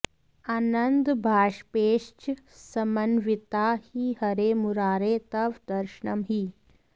आनन्दबाष्पैश्च समन्विता हि हरे मुरारे तव दर्शनं हि